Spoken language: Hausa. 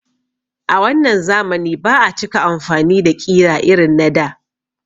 A wannan zamani ba a cika amfani da ƙira irin na da